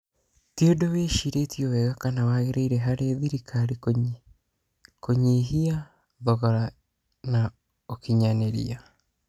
Ti-ũndũ wĩcirĩtio wega kana wagĩrĩire harĩ thirikari kũnyihia thogora ingo na ũkinyanĩria.